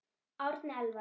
Árni Elvar.